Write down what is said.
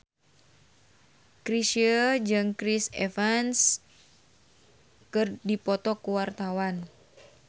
Chrisye jeung Chris Evans keur dipoto ku wartawan